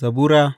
Zabura Sura